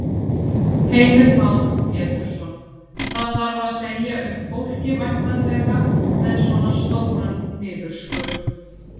Heimir Már Pétursson: Það þarf að segja upp fólki væntanlega, með svona stóran niðurskurð?